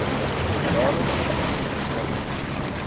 jaarlikse toekenning bring